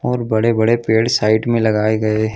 और बड़े-बड़े पेड़ साइड में लगाए गए हैं।